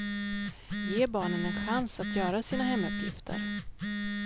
Ge barnen en chans att göra sina hemuppgifter.